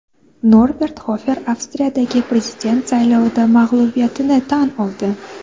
Norbert Xofer Avstriyadagi prezident saylovida mag‘lubiyatini tan oldi.